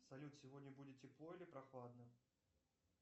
салют сегодня будет тепло или прохладно